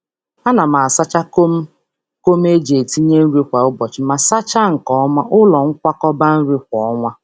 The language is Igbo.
A na m asacha kom kom eji etinye nri kwa ụbọchị ma sachaa nke ọma, ụlọ nkwakọba nri kwa ọnwa.